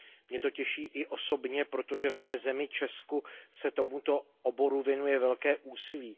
Mě to těší i osobně, protože v mé zemi, v Česku, se tomuto oboru věnuje velké úsilí.